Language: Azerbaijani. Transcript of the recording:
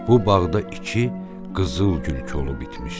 Bu bağda iki qızılgül kolu bitmişdi.